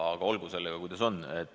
Aga olgu sellega, kuidas on.